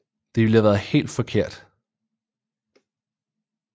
Det ville have været helt forkert